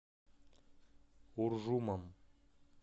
уржумом